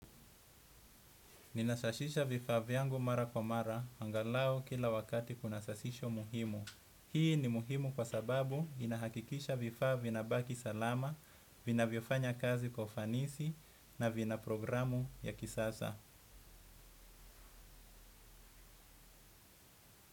Ninasashisha vifaa vyangu mara kwa mara, angalau kila wakati kuna sasisho muhimu. Hii ni muhimu kwa sababu inahakikisha vifaa vinabaki salama, vinavyofanya kazi kwa ufanisi, na vina programu ya kisasa.